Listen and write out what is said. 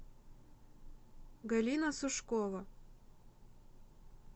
галина сушкова